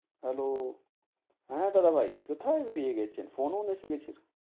Hello হ্যাঁ দাদা ভাই, কোথায় বেড়িয়ে গেছেন phone ওন এসে গেছিল?